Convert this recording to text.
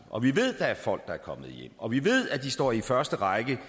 og vi ved at der er folk der er kommet hjem og vi ved at de står i første række